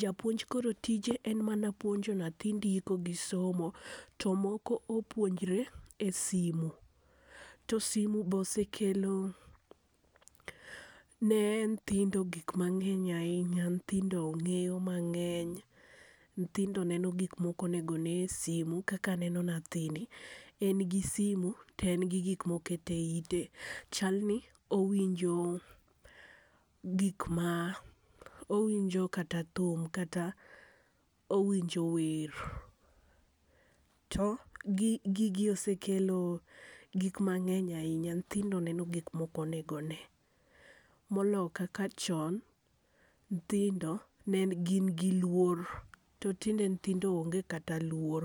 japuonj koro tije en mana puonjo nyathi ndiko gi somo. To moko opuonjre e simo. To simo osekelo ne nyithindo gik ma ngeny ainya, nyithindo ng'eyo mangeny ,nyithindo neno gik ma ok onego ne e simo, kaka aneno nyathini en gi simo to en gi gik ma oketo e ite, chal ni owinjo gik ma owinjo kata thum kata owinjo wer. To gigi osekelo gik mangeny ainya, nyithindo neno gik ma ok onego ne. Molo kaka chon nyithindo ne gin gi luor to tinde nyithindo onge kata luor.